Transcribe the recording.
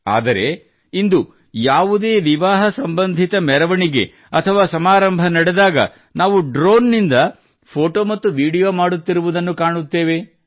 ಆದರೆ ಇಂದು ಯಾವುದೇ ವಿವಾಹ ಸಂಬಂಧಿತ ಮೆರವಣಿಗೆ ಅಥವಾ ಸಮಾರಂಭ ನಡೆದಾಗ ನಾವು ಡ್ರೋನ್ ನಿಂದ ಫೋಟೋ ಮತ್ತು ವಿಡಿಯೋ ಮಾಡುತ್ತಿರುವುದನ್ನು ಕಾಣುತ್ತೇವೆ